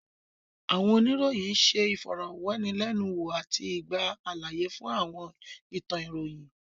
Àwọn oníròyìn ṣé ìfọ̀rọ̀wánilẹ́nuwò àti gba àlàyé fún àwọn ìtàn ìròyìn